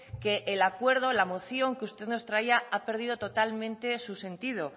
que el acuerdo la moción que usted nos traía ha perdido totalmente su sentido